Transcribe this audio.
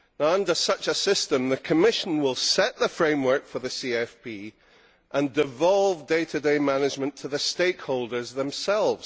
Under such a system the Commission will set the framework for the CFP and devolve day to day management to the stakeholders themselves.